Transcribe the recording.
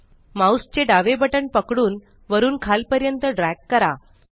mouse चे डावे button पकडून वरून खालपर्यंत ड्रॅग करा